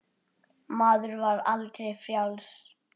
Maður var aldrei frjáls.